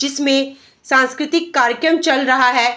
जिसमे सांस्कृतिक कार्यक्रम चल रहा है।